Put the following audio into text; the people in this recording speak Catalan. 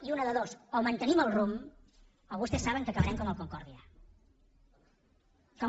i una de dues o mantenim el rumb o vostès saben que acabarem com el concordiasa